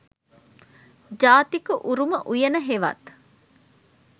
ජාතික උරුම උයන හෙවත්